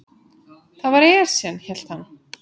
Það var Esjan, hélt hann.